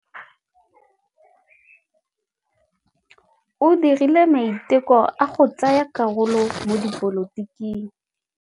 O dirile maitekô a go tsaya karolo mo dipolotiking.